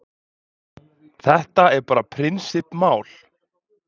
Þetta er bara prinsipp mál.